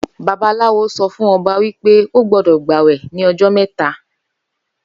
Babaláwo sọfún ọba wípé ó gbódò gbàwè ní ojó mẹ́ta